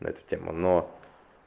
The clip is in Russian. и это тема но